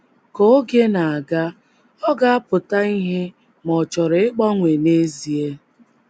Ka oge na - aga, ọ ga - apụta ìhè ma ọ̀ chọrọ ịgbanwe n’ezie.